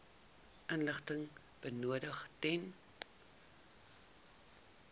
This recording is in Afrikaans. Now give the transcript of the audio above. inligting benodig ten